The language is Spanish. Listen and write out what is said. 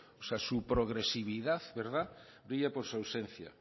su progresividad brilla por su ausencia